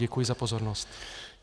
Děkuji za pozornost.